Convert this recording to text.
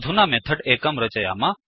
अधुना मेथड् एकं रचयाम